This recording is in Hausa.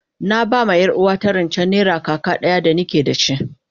Na ba ma yar uwarta rance naira kaka daya da ni ke da shi,